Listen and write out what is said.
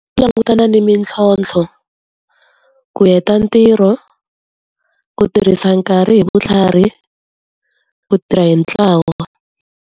Langutana ni mintlhontlho, ku heta ntirho, ku tirhisa nkarhi hi vutlhari, ku tirha hi ntlawa.